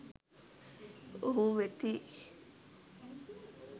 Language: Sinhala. ඔවුහු වෙති.